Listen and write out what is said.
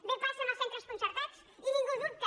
bé passa en els centres concertats i ningú dubta